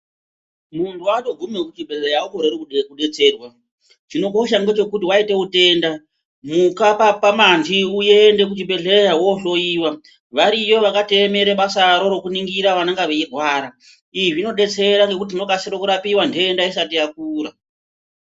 Muntu watoguma kuchibhedhleya aukoreri kudetserwa chinokosha ndechekuti waita utenda muka pamanti uende kuchibhedhleya wohloyiwa variyo vakatoemera basaro rekuningira vanenge veirwara izvi zvinodetsera ngekuti tinokasira kurapiwa ntenda isati yakura.